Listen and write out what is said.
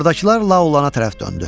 Ordakılar Lao Ulana tərəf döndü.